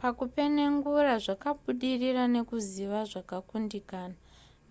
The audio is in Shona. pakupenengura zvakabudirira nekuziva zvakakundikana